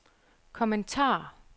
kommentar